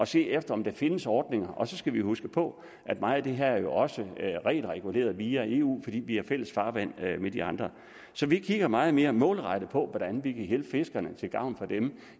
set efter om der findes ordninger og så skal vi huske på at meget af det her jo også er regelreguleret via eu fordi vi har fælles farvand med de andre så vi kigger meget mere målrettet på hvordan vi kan hjælpe fiskerne til gavn for dem